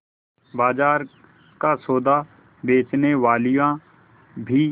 बाजार का सौदा बेचनेवालियॉँ भी